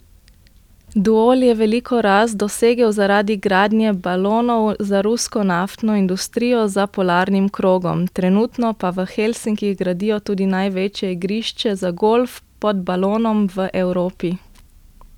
Duol je veliko rast dosegel zaradi gradnje balonov za rusko naftno industrijo za polarnim krogom, trenutno pa v Helsinkih gradijo tudi največje igrišče za golf pod balonom v Evropi.